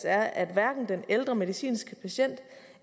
er at hverken den ældre medicinske patient